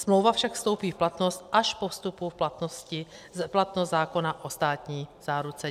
Smlouva však vstoupí v platnost až po vstupu v platnost zákona o státní záruce.